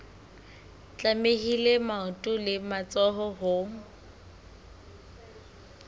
tlamehile maoto le matsoho ho